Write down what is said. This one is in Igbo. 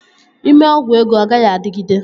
Ị mee ọgwụ ego, ọ gaghị adịgide